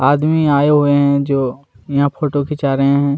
आदमी आये हुए है जो यहाँ फोटो खीचा रहे है।